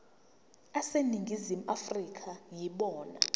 aseningizimu afrika yibona